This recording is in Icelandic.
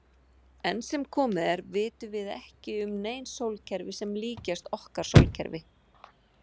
Enn sem komið er vitum við ekki um nein sólkerfi sem líkjast okkar sólkerfi.